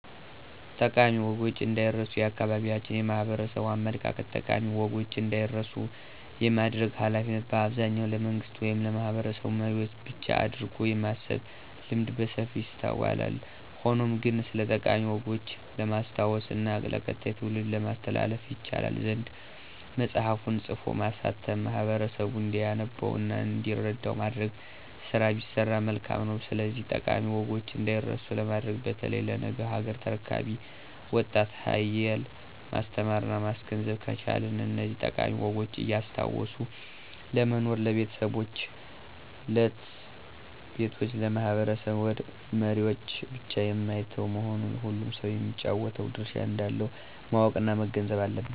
ጠቃሚ ወጎች እንዳይረስ የአካባቢያችን የማህበረሰቡ አመለካከት ጠቃሚ ወጎች እንዳይረሱ የማድረግ ሀላፊነት በአብዛኛው ለመንግስት ወይም ለማህበረሰብ መሪዎች ብቻ አድርጎ የማሰብ ልምድ በሰፊው ይስተዋላል። ሆኖም ግን ስለጠቃሚ ወጎች ለማስታወስ እና ለቀጣዩ ትውልድ ለማስተላለፍ ይቻል ዘንድ መፅሐፍን ፅፎ ማሳተም ማህበረሰቡ እንዲያነበው እና እንዲረዳ የማድረግ ስራ ቢሰራ መልካም ነው። ስለዚህ ጠቃሚ ወጎች እዳይረሱ ለማድረግ በተለይ ለነገ ሀገር ተረካቢው ወጣት ሀየል ማስተማረና ማስገንዘብ ከቻልን እነዚህን ጠቃሚ ወጎች እያስታወሱ ለመኖር ለቤተሰቦች፣ ለት/ቤቶች፣ ለማህበረሰብ መሪወች ብቻ የማይተው መሆኑን ሁሉም ሰው የሚጫወተው ድርሻ እንዳለው ማወቅና መገንዘብ አለበት።